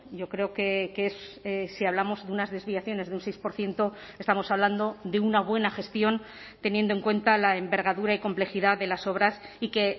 yo creo que si hablamos de unas desviaciones de un seis por ciento estamos hablando de una buena gestión teniendo en cuenta la envergadura y complejidad de las obras y que